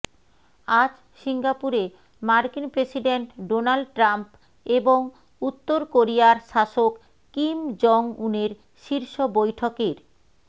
আজ সিঙ্গাপুরে মার্কিন প্রেসিডেন্ট ডোনাল্ড ট্রাম্প এবং উত্তর কোরিয়ার শাসক কিম জং উনের শীর্ষ বৈঠকের